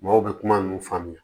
Maaw bɛ kuma ninnu faamuya